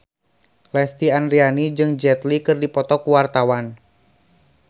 Lesti Andryani jeung Jet Li keur dipoto ku wartawan